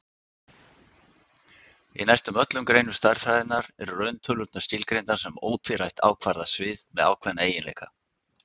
Í næstum öllum greinum stærðfræðinnar eru rauntölurnar skilgreindar sem ótvírætt ákvarðað svið með ákveðna eiginleika.